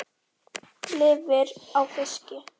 Lifir á fiski.